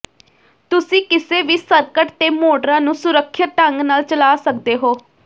ਤੁਸੀਂ ਕਿਸੇ ਵੀ ਸਰਕਟ ਤੇ ਮੋਟਰਾਂ ਨੂੰ ਸੁਰੱਖਿਅਤ ਢੰਗ ਨਾਲ ਚਲਾ ਸਕਦੇ ਹੋ